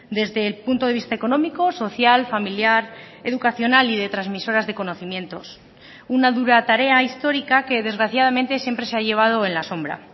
desde el punto de vista económico social familiar educacional y de transmisoras de conocimientos una dura tarea histórica que desgraciadamente siempre se ha llevado en la sombra